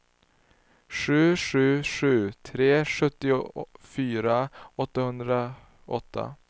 sju sju sju tre sjuttiofyra åttahundraåtta